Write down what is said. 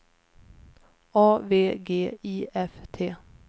A V G I F T